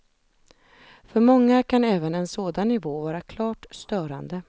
För många kan även en sådan nivå vara klart störande.